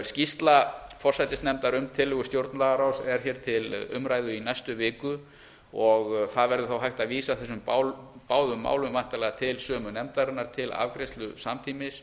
skýrsla forsætisnefndar um tillögu stjórnlagaráðs er hér til umræðu í næstu viku og það verður þá hægt að vísa þessum báðum málum væntanlega til sömu nefndarinnar til afgreiðslu samtímis